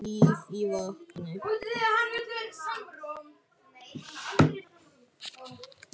Líf í vatni.